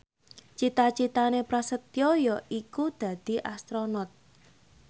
cita citane Prasetyo yaiku dadi Astronot